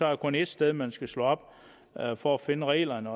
der kun ét sted man skal slå op for at finde reglerne